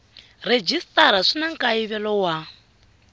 rhejisitara swi na nkayivelo wa